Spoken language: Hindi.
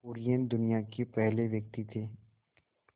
कुरियन दुनिया के पहले व्यक्ति थे